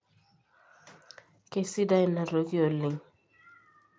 keisidai ina toki oleng